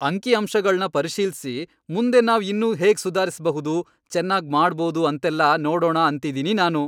ಅಂಕಿಅಂಶಗಳ್ನ ಪರಿಶೀಲ್ಸಿ ಮುಂದೆ ನಾವ್ ಇನ್ನೂ ಹೇಗ್ ಸುಧಾರಿಸ್ಬಹುದು, ಚೆನ್ನಾಗ್ ಮಾಡ್ಬೋದು ಅಂತೆಲ್ಲ ನೋಡೋಣ ಅಂತಿದೀನಿ ನಾನು.